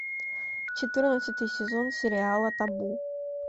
четырнадцатый сезон сериала табу